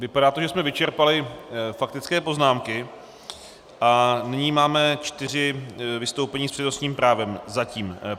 Vypadá to, že jsme vyčerpali faktické poznámky, a nyní máme čtyři vystoupení s přednostním právem, zatím.